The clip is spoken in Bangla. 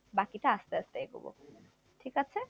বাকিটা আস্তে আস্তে এগাবো, ঠিক আছে?